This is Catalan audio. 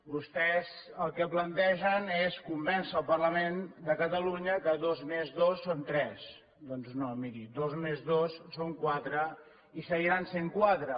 vostès el que plantegen és convèncer el parlament de catalunya que dos més dos són tres doncs no mirin dos més dos són quatre i seguiran sent quatre